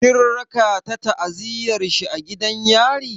Kin raka ta ziyartar shi a gidan yari?